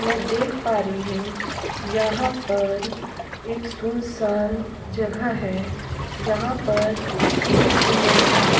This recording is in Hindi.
मै देख पा रही हु यहाँ पर एक सुनसान जगह है जहाँ पर एक लड़का ।